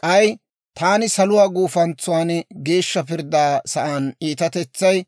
K'ay taani, saluwaa gufantsan geeshsha pirddaa sa'aan iitatetsay,